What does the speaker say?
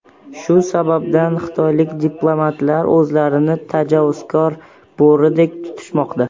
Shu sababdan xitoylik diplomatlar o‘zlarini tajovuzkor bo‘ridek tutishmoqda.